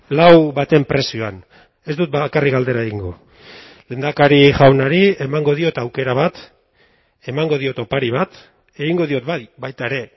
lau baten prezioan ez dut bakarrik galdera egingo lehendakari jaunari emango diot aukera bat emango diot opari bat egingo diot bai baita ere